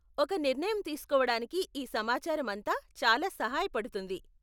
ఒక నిర్ణయం తీసుకోవడానికి ఈ సమాచారం అంతా చాలా సహాయపడుతుంది.